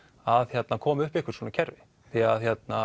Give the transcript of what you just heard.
að koma upp einhvers konar svona kerfi því